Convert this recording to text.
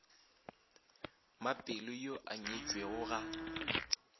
mapelo yo a nyetšwego ga